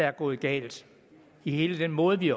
er gået galt i hele den måde vi